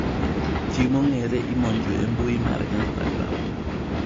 Ji mong'ere imonjo e mbuyi mar Instagram